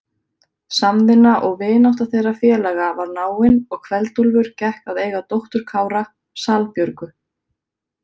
Samvinna og vinátta þeirra félaga var náin og Kveld-Úlfur gekk að eiga dóttur Kára, Salbjörgu.